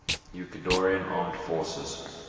ecuadorian armed forces